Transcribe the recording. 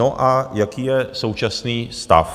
No, a jaký je současný stav?